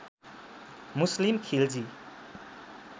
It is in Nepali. मुस्लिम खिलजी